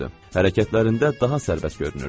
Hərəkətlərində daha sərbəst görünürdü.